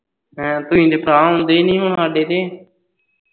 ਹੈਂ ਤੂੰਹੀ ਤੇ ਭਰਾਂ ਆਉਂਦੇ ਨਹੀਂ ਹੁਣ ਹਾਡੇ ਤੇ